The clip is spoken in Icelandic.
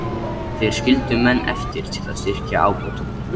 Þeir skildu menn eftir til að styrkja ábótann.